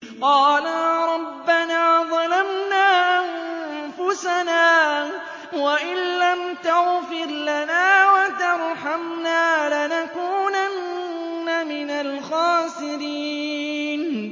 قَالَا رَبَّنَا ظَلَمْنَا أَنفُسَنَا وَإِن لَّمْ تَغْفِرْ لَنَا وَتَرْحَمْنَا لَنَكُونَنَّ مِنَ الْخَاسِرِينَ